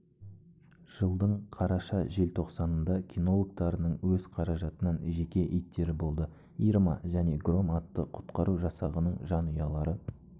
жылдың қараша-желтоқсанында кинологтарының өз қаражатынан жеке иттері болды ирма және гром атты құтқару жасағының жанұялары